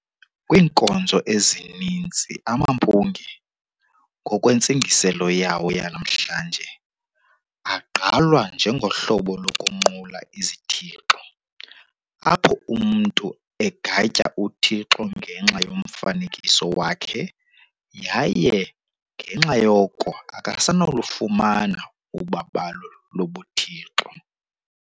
Kwiinkonzo ezininzi amampunge, ngokwentsingiselo yawo yanamhlanje, agqalwa njengohlobo lokunqula izithixo, apho umntu egatya uThixo ngenxa yomfanekiso wakhe, yaye ngenxa yoko akasanawulufumana ubabalo lobuthixo.